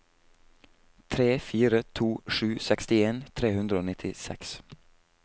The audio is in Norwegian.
tre fire to sju sekstien tre hundre og nittiseks